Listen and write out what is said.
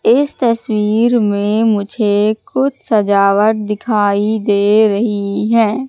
इस तस्वीर में मुझे कुछ सजावट दिखाई दे रही है।